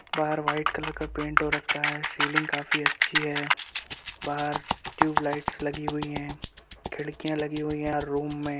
बाहर white colour का paint हो रखा है | सिलिंग काफी अच्छी है बाहर ट्यूब लाइट्स लगी हुई है खिड़किया लगी हुई है हर रूम में |